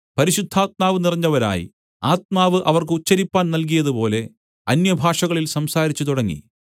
പരിശുദ്ധാത്മാവ് നിറഞ്ഞവരായി ആത്മാവ് അവർക്ക് ഉച്ചരിപ്പാൻ നല്കിയതുപോലെ അന്യഭാഷകളിൽ സംസാരിച്ചു തുടങ്ങി